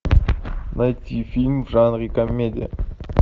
найти фильм в жанре комедия